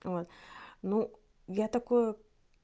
вот ну я такое